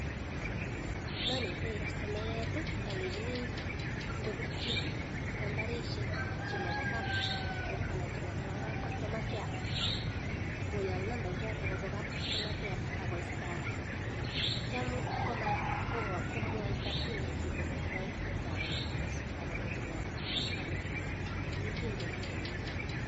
Oleanetitoi kastomayat alenjini kobirchi nambarishek chemaba kab Safaricom anan chemabkab kastoma care koyak namba ichoton akoistakanbakitya komatkomwaita pin chachik chebo mpesa anan kochebo anan kochebo ano korib pin chachik